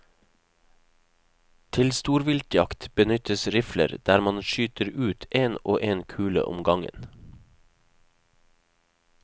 Til storviltjakt benyttes rifler, der man skyter ut en og en kule om gangen.